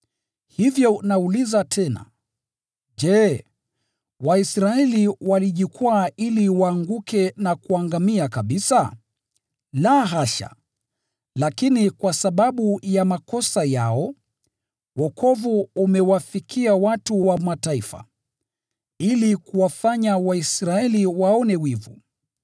Hivyo nauliza tena: Je, Waisraeli walijikwaa ili waanguke na kuangamia kabisa? La, hasha! Lakini kwa sababu ya makosa yao, wokovu umewafikia watu wa Mataifa, ili kuwafanya Waisraeli waone wivu.